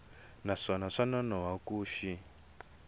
naswona swa nonoha ku xi